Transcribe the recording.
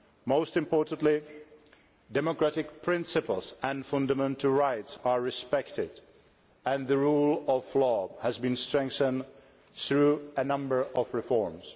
Most importantly, democratic principles and fundamental rights are respected and the rule of law has been strengthened through a number of reforms.